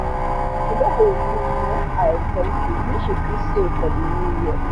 she don reduce um her expenses make she fit save for the new year